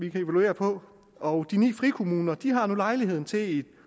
evaluere på og de ni frikommuner har nu lejlighed til